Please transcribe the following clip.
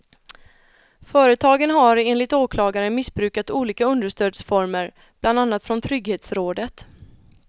Företagen har enligt åklagaren missbrukat olika understödsformer, bland annat från trygghetsrådet.